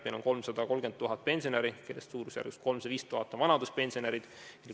Meil on 330 000 pensionäri, kellest suurusjärgus 305 000 on vanaduspensionärid.